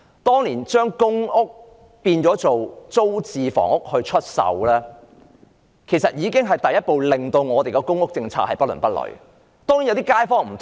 當年把公屋變為租置房屋出售，已經是第一步令本港公屋政策變得不倫不類。